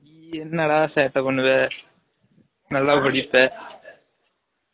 நீ என்ன டா சேட்டை பன்னுவ, நல்லா படிப்ப